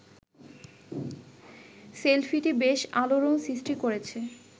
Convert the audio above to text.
সেলফিটি বেশ আলোড়ন সৃষ্টি করেছে